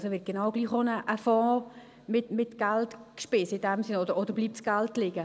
Also wird in dem Sinn genau gleich auch ein Fonds mit Geld gespeist, oder bleibt das Geld liegen?